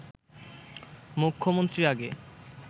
মুখ্যমন্ত্রীর আগে